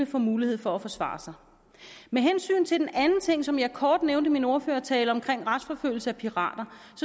får mulighed for at forsvare sig med hensyn til den anden ting som jeg kort nævnte i min ordførertale om retsforfølgelse af pirater